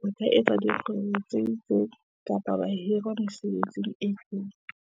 ba ka etsa dikgwebo tse itseng, kapa ba hirwa mesebetsing e itseng.